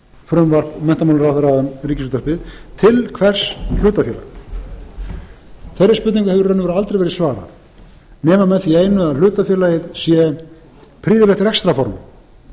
frumvarp menntamálaráðherra um ríkisútvarpið til hvers hlutafélag þeirri spurningu hefur í raun og veru aldrei verið svarað nema með því einu að hlutafélagið sé prýðilegt rekstrarform